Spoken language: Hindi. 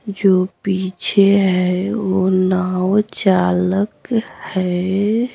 जो पीछे है वो नाव चालक है।